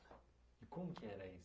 E como que era isso?